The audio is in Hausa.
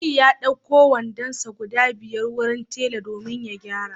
Aliyu ya d'auko wandonsa guda biyar wurin tela domin ya gyara